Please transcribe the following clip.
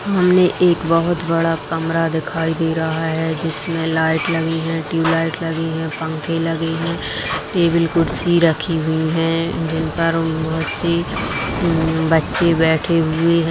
हमने एक बहुत बड़ा कमरा दिखाई दे रहा है जिसमे लाइट लगी है ट्यूबलाइट लगी है पंखे लगे हैं टेबल-कुर्सी रखी हुई हैं जिन पर बहुत सी उम_उम बच्चे बैठे हुए हैं ।